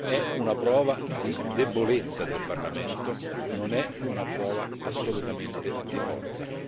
È una prova di debolezza del Parlamento, non è una prova assolutamente di forza.